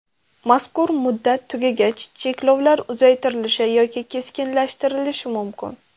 Mazkur muddat tugagach cheklovlar uzaytirilishi yoki keskinlashtirilishi mumkin.